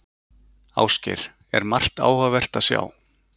Ásgeir, er margt áhugavert að sjá?